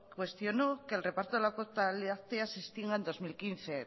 cuestionó que el reparto de la cuota láctea se estima en dos mil quince